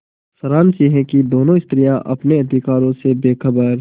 सारांश यह कि दोनों स्त्रियॉँ अपने अधिकारों से बेखबर